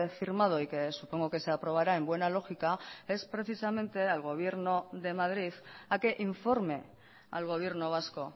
firmado y que supongo que se aprobará en buena lógica es precisamente al gobierno de madrid a que informe al gobierno vasco